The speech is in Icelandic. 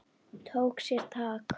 Tók sér tak.